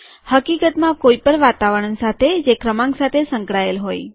હકીકતમાં કોઈપણ વાતાવરણ સાથે જે ક્રમાંક સાથે સંકળાયેલ હોય